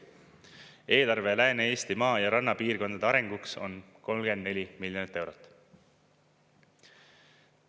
Eelarve Lääne-Eesti maa- ja rannapiirkondade arenguks on 34 miljonit eurot.